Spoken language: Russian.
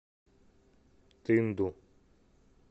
тынду